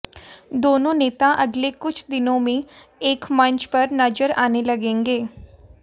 दोनों नेता अगले कुछ दिनों में एक मंच पर नजर आने लगेंगे